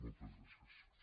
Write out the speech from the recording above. moltes gràcies